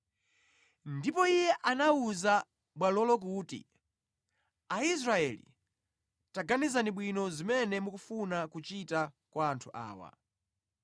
Ndipo iye anawuza bwalolo kuti, “Aisraeli, taganizani bwino, zimene mukufuna kuchita kwa anthu awa.